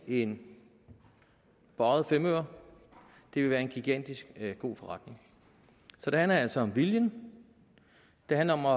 en bøjet femøre det vil være en gigantisk god forretning så det handler altså om viljen det handler om at